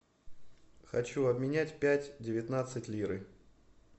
хочу обменять пять девятнадцать лиры